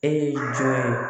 E ye jɔn